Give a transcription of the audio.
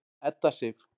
Edda Sif.